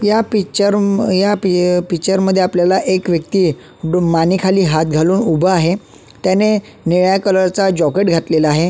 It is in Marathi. या पिक्चर या पिक्चर मध्ये आपल्याला एक व्यक्ती दुमाने हात खाली घालून उभा आहे त्याने निळ्या कलरच जॅकेट घातलेलं आहे.